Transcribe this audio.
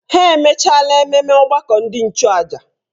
Ha emechaala ememme ọgbakọ ndị nchụàjà.